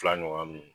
Fila ɲɔgɔn min